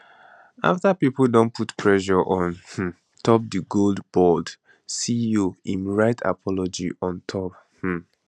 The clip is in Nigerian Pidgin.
afta pipo don put pressure on um top di gold board ceo im write apology on top um